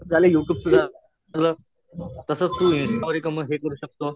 हे झालं यु ट्यूबच तास तू इंस्टवरही कमर्शिअल करू शकतो.